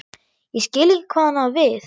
Ég skil ekki hvað hún á við.